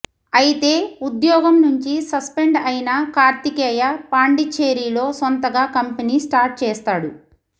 అయితే ఉద్యోగం నుంచి సస్పెండ్ అయిన కార్తీకేయ పాండిచ్చేరిలో సొంతగా కంపెనీ స్టార్ట్ చేస్తాడు